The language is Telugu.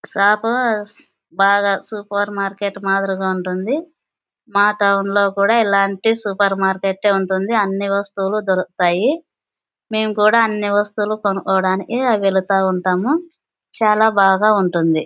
షాపు బాగా సూపర్ మార్కెట్ మాథేరీగా ఉంటుంది. మా టౌన్ లో కూడా ఇల్లాంటి సూపర్ మార్కెట్ ఉంటుంది. అని వస్తువులు దొరుకుతాయి. మేము కూడా అనే వస్తవులు కొనుకోవడానికి వెళ్తూ ఉంటాము. చాల బాగా ఉంటుంది.